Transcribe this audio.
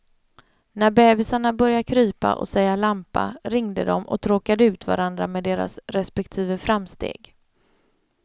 När bebisarna började krypa och säga lampa ringde de och tråkade ut varandra med deras respektive framsteg.